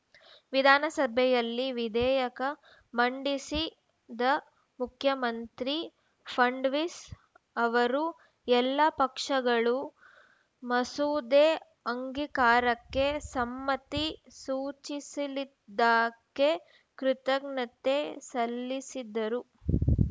ವಿಧಾನಸಭೆಯಲ್ಲಿ ವಿಧೇಯಕ ಮಂಡಿಸಿದ ಮುಖ್ಯಮಂತ್ರಿ ಫಂಡ್ ವೀಸ್‌ ಅವರು ಎಲ್ಲ ಪಕ್ಷಗಳು ಮಸೂದೆ ಅಂಗಿಕಾರಕ್ಕೆ ಸಮ್ಮತಿ ಸೂಚಿಸಿಲಿದ್ದಕ್ಕೆ ಕೃತಜ್ಞತೆ ಸಲ್ಲಿಸಿದರು